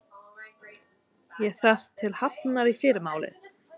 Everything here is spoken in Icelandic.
Ég þarf til Hafnar í fyrramálið.